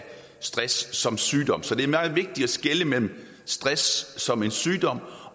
stress som sygdom så det er meget vigtigt at skelne mellem stress som en sygdom